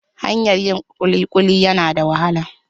Hanyar yin kulikuli yana da wahala.